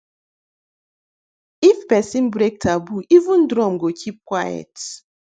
if person break taboo even drum go keep quiet